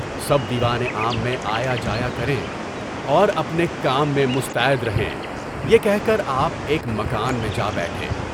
سب دیوان عام میں آیا جایا کرے اور اپنے کام میں مستعد رہیں، یہ کہہ کر آپ ایک مکان میں جا بیٹھے۔